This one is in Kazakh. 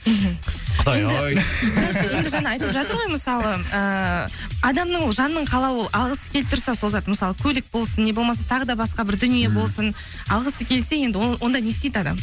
мхм құдай ай енді жаңа айтып жатыр ғой мысалы ыыы адамның жанның қалауы ол алғысы келіп тұрса сол зат мысалы көлік болсын не болмаса тағы басқа бір дүние болсын алғысы келсе енді ол онда не істейді адам